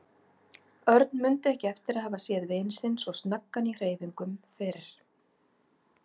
Örn mundi ekki eftir að hafa séð vin sinn svo snöggan í hreyfingum fyrr.